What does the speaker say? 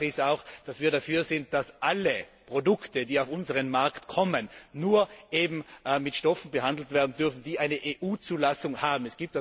Tatsache ist auch, dass wir dafür sind, dass alle Produkte, die auf unseren Markt kommen, nur mit Stoffen behandelt werden dürfen, die eine EU Zulassung haben.